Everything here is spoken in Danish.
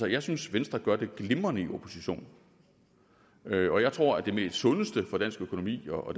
jeg synes venstre gør det glimrende i opposition og jeg tror at det sundeste for dansk økonomi og